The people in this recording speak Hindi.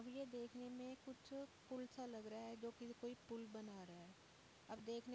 ये देखने में कुछ पुल सा लग रहा है जो कोई पुल बना रहा है। अब देखने --